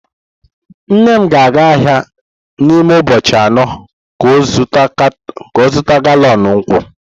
Nne m ga-aga ahia n'ime ubochi ano ka o zuta galọn nkwu.